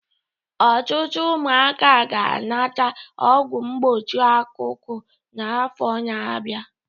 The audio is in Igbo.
Ọtụtụ ụmụaka ga-anata ọgwụ mgbochi ọkụkọ n'afọ na-abịa